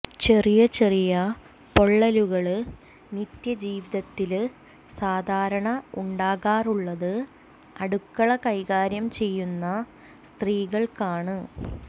ചെറിയ ചെറിയ പൊള്ളലുകള് നിത്യ ജീവിതത്തില് സാധാരണ ഉണ്ടാകാറുള്ളത് അടുക്കള കൈകാര്യം ചെയ്യുന്ന സ്ത്രീകള്ക്കാണ്